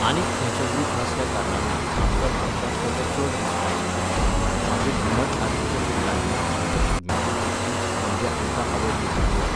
आनीक खंयचो ग्रूप नासल्या कारणानूय आमकां म्हापशांत तेचो चड रिस्पॉन्स मेळ्ळो. मागीर घुमट आरतीच्या फिल्डांतल्यान आमकां शिगम्यांतूय तितकीच, म्हणजे आमकां आवड निर्माण जाली